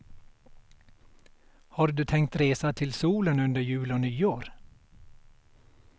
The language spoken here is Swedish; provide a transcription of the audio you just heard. Har du tänkt resa till solen under jul och nyår?